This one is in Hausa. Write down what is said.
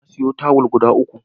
Na sayo tawul guda uku.